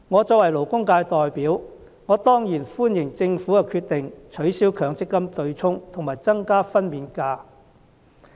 作為勞工界代表，我當然歡迎政府的決定，取消強積金對沖和增加法定產假日數。